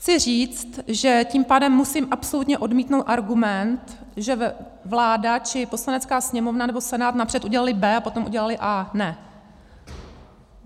Chci říct, že tím pádem musím absolutně odmítnout argument, že vláda či Poslanecká sněmovna nebo Senát napřed udělaly B, a potom udělali A. Ne.